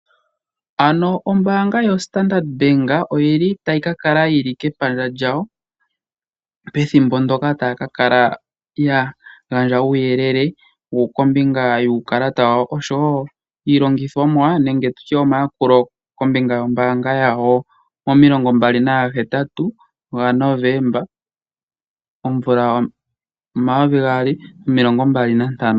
Ano ombaanga yoStandard Bank oyili tayi kakala yili kepandja lyawo pethimbo ndoka taya kakala yagandja uuyelele kombinga yuukalata wawo osho wo iilongithomwa nenge tutye omayakulo kombinga yombaanga yawo mo28 Novemba 2025.